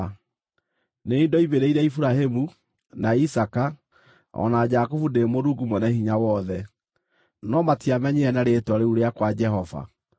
Nĩ niĩ ndoimĩrĩire Iburahĩmu, na Isaaka, o na Jakubu ndĩ Mũrungu Mwene-Hinya-Wothe, no matiamenyire na rĩĩtwa rĩu rĩakwa Jehova.